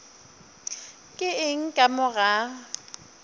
ke eng ka mo ga